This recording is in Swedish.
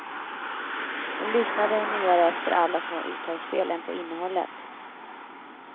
Hon lyssnade mera efter alla små uttalsfel än på innehållet.